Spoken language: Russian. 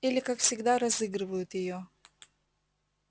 или как всегда разыгрывают её